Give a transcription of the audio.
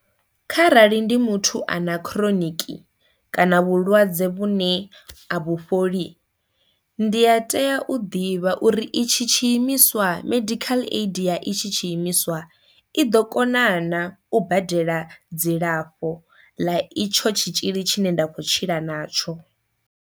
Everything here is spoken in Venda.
Kha rali ndi muthu a na kha chronic kana vhulwadze vhune a vhufholi ndi a tea u ḓivha uri i tshi tshiimiswa medical aid ya i tshi tshiimiswa i ḓo kona na u badela dzilafho ḽa itsho tshitzhili tshine nda kho tshila natsho.